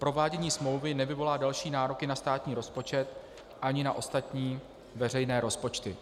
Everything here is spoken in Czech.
Provádění smlouvy nevyvolá další nároky na státní rozpočet ani na ostatní veřejné rozpočty.